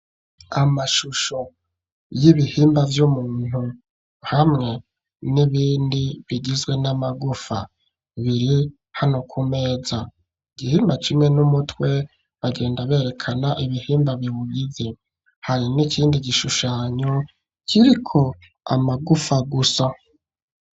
Amashusho y'ibihimba vy'umuntu hamwe n'ibindi bigizwe n'amagufa, biri hano ku meza. Igihimba kimwe ni umutwe, bagenda berekana ibihimba biwugize. Hari n'ikindi gishushanyo kiriko amagufa gusa.